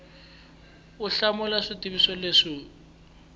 u hlamula swivutiso leswi wu